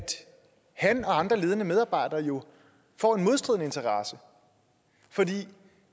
han og andre ledende medarbejdere jo får en modstridende interesse for